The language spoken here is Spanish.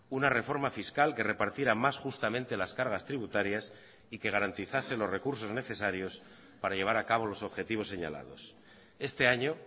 una reforma fiscal que repartiera más justamente las cargas tributarias y que garantizase los recursos necesarios para llevar a cabo los objetivos señalados este año